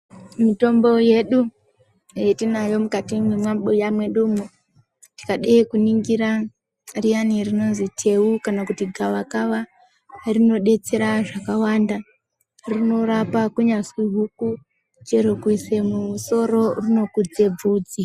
Mitombo yedu yatinayo mukati mwemabhuya mwedumwo tikade kuningira riyani rinozi teu kana kuti gava kava rinodetsera zvakawanda rinorapa kunyazwi huku chero kuzi musoro rinokudze bvudzi.